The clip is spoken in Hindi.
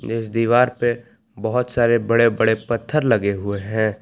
इस दीवार पे बहोत सारे बड़े बड़े पत्थर लगे हुए है।